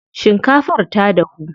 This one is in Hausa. Shinkafar ta dahu.